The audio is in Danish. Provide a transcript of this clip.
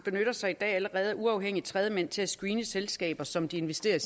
sig af uafhængig tredjemand til at screene selskaber som de investerer